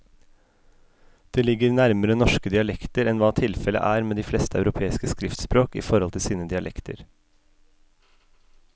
Det ligger nærmere norske dialekter enn hva tilfellet er med de fleste europeiske skriftspråk i forhold til sine dialekter.